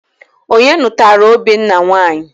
Onye nụtara Obinna nwanyị?